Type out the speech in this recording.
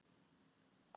Hér er það!